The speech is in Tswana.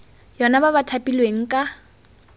yona ba ba thapilweng ka